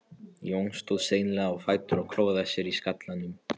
Jón stóð seinlega á fætur og klóraði sér í skallanum.